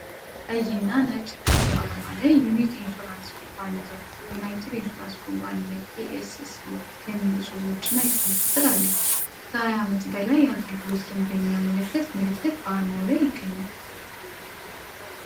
ቀይና ነጭ ክብ አርማ ላይ ዩኒክ ኢንሹራንስ ኩባንያ፣ ዩናይትድ ኢንሹራንስ ኩባንያ ኤስሲ (UNIC ETHIOPIA) የሚሉ ጽሑፎችና የስልክ ቁጥር አለ። ከ20 ዓመት በላይ የአገልግሎት ልምድ የሚያመለክት ምልክት በአርማው ላይ ይገኛል።